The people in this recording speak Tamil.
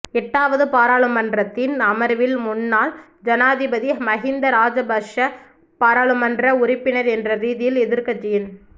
எட்டாவது பாராளுமன்றத்தின் அமர்வில் முன்னாள் ஜனாதிபதி மஹிந்த ராஜபக்ஷ பாராளுமன்ற உறுப்பினர் என்ற ரீதியில் எதிர்க்கட்சியின்